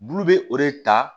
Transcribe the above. Bulu bɛ o de ta